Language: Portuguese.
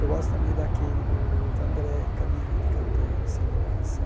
Eu gosto também daquele do Vandré, caminhando e cantando, seguindo a canção.